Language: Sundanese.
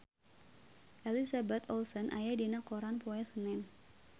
Elizabeth Olsen aya dina koran poe Senen